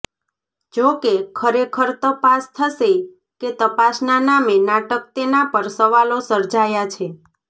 જોકે ખરેખર તપાસ થશે કે તપાસના નામે નાટક તેના પર સવાલો સર્જાયા છે